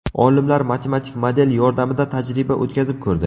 Olimlar matematik model yordamida tajriba o‘tkazib ko‘rdi.